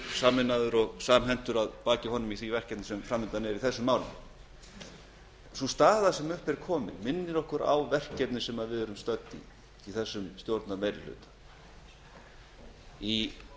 sameinaður og samhentur að baki honum í því sú staða sem upp er kominn minnir okkur á verkefni sem við erum að takast á við í þessum stjórnarmeirihluta í